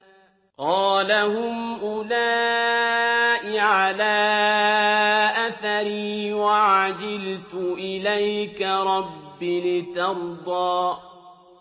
قَالَ هُمْ أُولَاءِ عَلَىٰ أَثَرِي وَعَجِلْتُ إِلَيْكَ رَبِّ لِتَرْضَىٰ